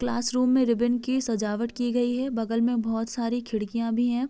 Classroom में ribbon की सजावट की गई है बगल में बहौत सारी खिड़कियां भी हैं।